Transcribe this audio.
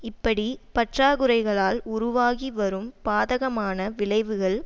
இப்படி பற்றாக்குறைகளால் உருவாகி வரும் பாதகமான விளைவுகள்